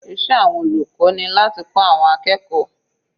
Iṣẹ́ àwọn olùkọ́ ni láti kọ́ àwọn akẹ́kọ̀ọ́.